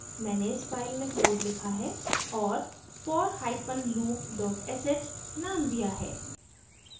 मैंने इस file में code लिखा है और forloop sh named दिया है